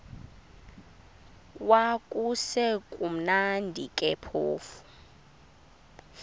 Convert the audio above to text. kwakusekumnandi ke phofu